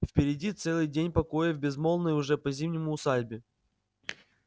впереди целый день покоя в безмолвной уже по-зимнему усадьбе